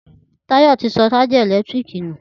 Tayo ti sọ ṣájà ẹ̀lẹ́tíríkì nù